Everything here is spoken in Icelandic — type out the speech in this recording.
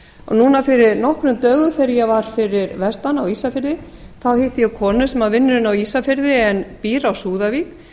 núna fyrir nokkrum dögum þegar ég var fyrir vestan á ísafirði þá hitti ég konu sem að vinnur inni á ísafirði en býr á súðavík